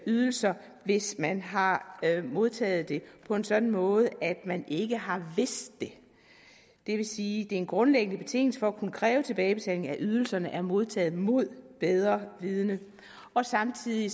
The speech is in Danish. ydelser hvis man har modtaget dem på en sådan måde at man ikke har vidst det det vil sige det er en grundlæggende betingelse for at kunne kræve tilbagebetaling af ydelserne at de er modtaget mod bedre vidende og samtidig